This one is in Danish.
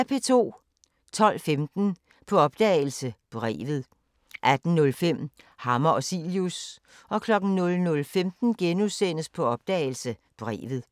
12:15: På opdagelse – Brevet 18:05: Hammer og Cilius 00:15: På opdagelse – Brevet *